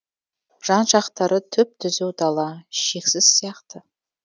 жан жақтары түп түзу дала шексіз сияқты